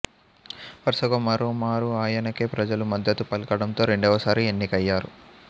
వరుసగా మరో మారు ఆయనకే ప్రజలు మద్దతు పలకడంతో రెండవ సారి ఎన్నికయ్యారు